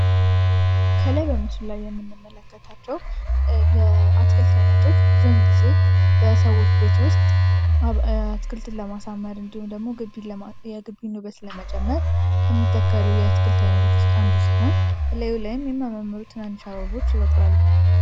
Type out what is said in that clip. ከላይ በምስሉ ላይ የምንመለከታቸው የአትክልት አይነቶች ብዙውን ጊዜ በሰዎች ቤት ውስጥ አትክልትን ለማሳመር እንዲሁም ደግሞ የገቢ ውበት ለመጨመር ከሚተከሱ የአትክልት አይነቶች ውስጥ አንዱ ሲሆን፤ እላዩ ላይም የሚያማምሩ ትናንሽ አበቦች ይበቅላሉ።